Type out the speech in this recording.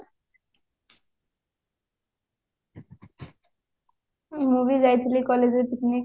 ମୁଁ ବି ଯାଇଥିଲି collegeରେ picnic